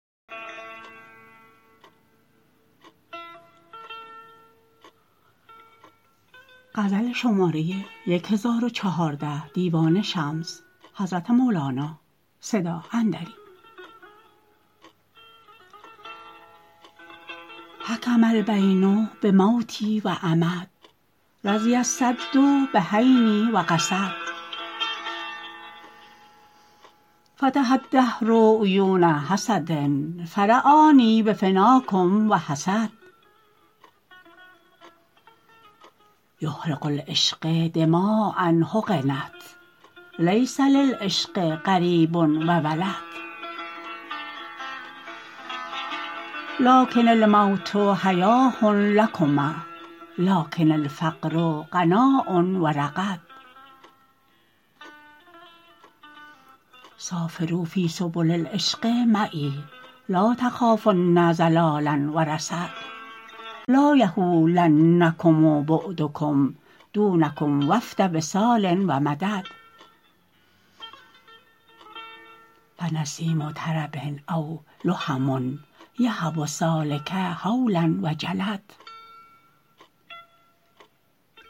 حکم البین بموتی و عمد رضی الصد بحینی و قصد فتح الدهر عیون حسد فر آنی بفناکم و حسد یهرق العشق دماء حقنت لیس للعشق قریب و ولد لکن الموت حیاه لکم لکن الفقر غناء و رغد سافروا فی سبل العشق معی لا تخافن ضلالا و رصد لا یهولنکم بعدکم دونکم وفد وصال و مدد فنسیم طرب اولهم یهب السالک حولا و جلد